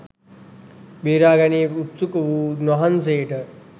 බේරා ගැනීමට උත්සුක වූ උන්වහන්සේට